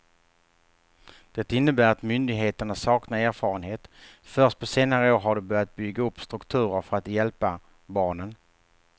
Det innebär att myndigheterna saknar erfarenhet, först på senare år har de börjat bygga upp strukturer för att hjälpa barnen.